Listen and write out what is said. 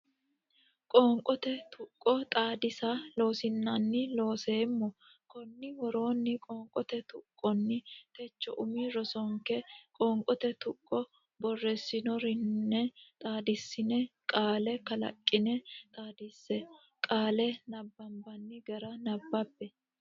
Qoonqote Tuqqo Xaadisa Loossinanni Looseemmo Konni woroonni qoonqote tuqqonni Techo umi rosinke qoonqote tuqqo borreessinoonire xaadissine qaale kalaqqine xaadinse qaale nabbambanni gara nabbabbe.